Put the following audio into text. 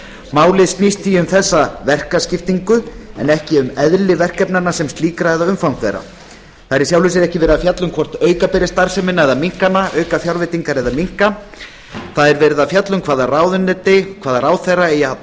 málið snýst því um þessa verkaskiptingu en ekki um eðli verkefnanna sem slíkra eða umfang þeirra það er í sjálfu sér ekki verið að fjalla um hvort auka beri starfsemina eða minnka hana auka fjárveitingar eða minnka það er verið að fjalla um hvaða ráðuneyti hvaða ráðherra eigi að